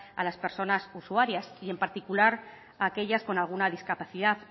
a las personas usuarias y en particular aquellas con alguna discapacidad